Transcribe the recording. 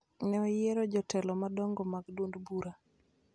ne oyiero jotelo madongo mag duond bura